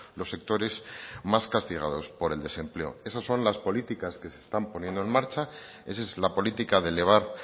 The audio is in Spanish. los sectores más castigados por el desempleo eso son las políticas que se están poniendo en marcha esa es la política de elevar